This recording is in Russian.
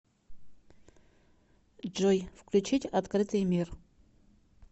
джой включить открытый мир